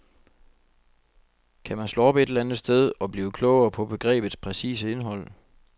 Kan man slå op et eller andet sted og blive klogere på begrebets præcise indhold?